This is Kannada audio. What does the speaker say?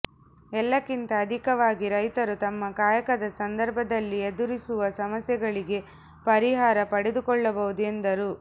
ಎಲ್ಲಕ್ಕಿಂತ ಅಧಿಕವಾಗಿ ರೈತರು ತಮ್ಮ ಕಾಯಕದ ಸಂದರ್ಭದಲ್ಲಿ ಎದುರಿಸುವ ಸಮಸ್ಯೆಗಳಿಗೆ ಪರಿಹಾರ ಪಡೆದುಕೊಳ್ಳಬಹುದು ಎಂದರು